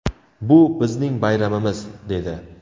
Bu – bizning bayramimiz!” – dedi.